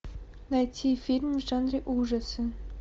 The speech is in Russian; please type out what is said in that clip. найти фильм в жанре ужасы